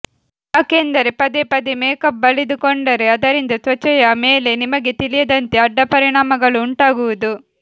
ಯಾಕೆಂದರೆ ಪದೇ ಪದೇ ಮೇಕಪ್ ಬಳಿದುಕೊಂಡರೆ ಅದರಿಂದ ತ್ವಚೆಯ ಮೇಲೆ ನಿಮಗೆ ತಿಳಿಯದಂತೆ ಅಡ್ಡಪರಿಣಾಮಗಳು ಉಂಟಾಗುವುದು